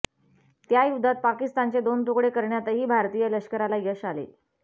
त्या युद्धात पाकिस्तानचे दोन तुकडे करण्यातही भारतीय लष्कराला यश आले